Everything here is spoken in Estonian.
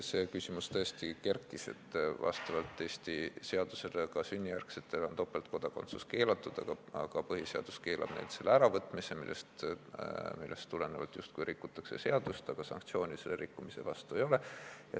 See küsimus tõesti kerkis, et vastavalt Eesti seadusele on ka sünnijärgsete kodanike puhul topeltkodakondsus keelatud, aga põhiseadus keelab neilt seda ära võtta, millest tulenevalt justkui rikutakse seadust, aga sanktsiooni selle rikkumise vastu ei ole.